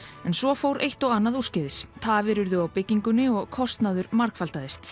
en svo fór eitt og annað úrskeiðis tafir urðu á byggingunni og kostnaður margfaldaðist